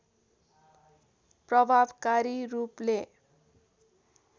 प्रभावकरी रूपले